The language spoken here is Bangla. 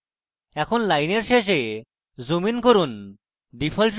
এখন লাইনের শেষে zoomin করুন